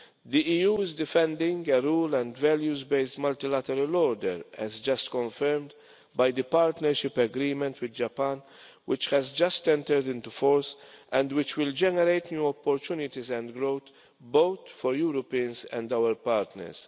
The EU is defending a rule and values based multilateral order as just confirmed by the partnership agreements with Japan, which has just entered into force and which will generate new opportunities and growth both for Europeans and our partners.